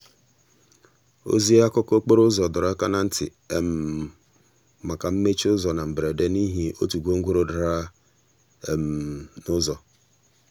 ozi akụkọ okporo ụzọ dọrọ aka na ntị maka mmechi ụzọ na mberede n'ihi otu gwongworo dara n'ụzọ.